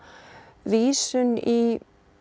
vísun í